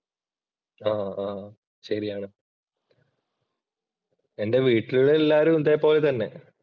ആഹ് ആഹ് ശരിയാണ് എന്‍റെ വീട്ടിലുള്ള എല്ലാവരും ഇതേപോലെ തന്നെ.